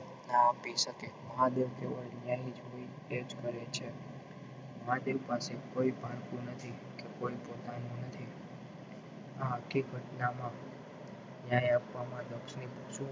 ના આપી શકે મહાદેવ ન્યાય તેની રીતેજ કરે છે માટે પાસે કોઈ પારકું નથી કે કોઈ પોતાનું નથી ને આખી ઘટનામાં ન્યાય આપવામાં લક્ષ્મી